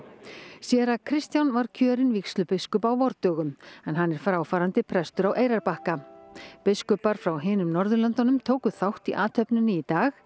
séra Kristján var kjörinn vígslubiskup á vordögum en hann er fráfarandi prestur á Eyrarbakka biskupar frá hinum Norðurlöndunum tóku þátt í athöfninni í dag